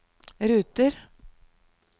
ruter